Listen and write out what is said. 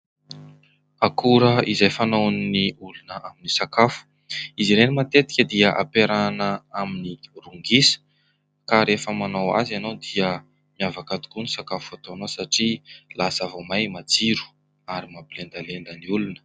Akora izay fanaon'ny olona amin'ny sakafo, izy ireny matetika dia ampiarahana amin'ny ron-gisa ka rehefa manao azy ianao dia miavaka tokoa ny sakafo ataonao satria lasa vao miha-matsiro ary mampilendalenda ny olona.